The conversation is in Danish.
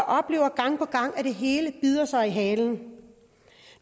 oplever gang på gang at det hele bider sig selv i halen